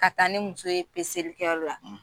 Ka ta ni muso ye kɛyɔrɔ la